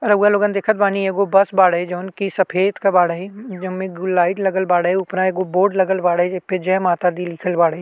रउवा लोगन देखत बानी एगो बस बाड़े जौन की सफ़ेद के बाड़े जो में ब्लू लाइट लगल बाड़े उपरा एगो बोर्ड लगल बाड़े जे पे जय माता दी लिखल बाड़े।